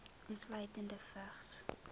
insluitende vigs